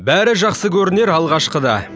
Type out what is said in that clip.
бәрі жақсы көрінер алғашқыда